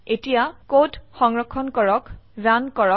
এতিয়া কোড সংৰক্ষণ কৰক ৰান কৰক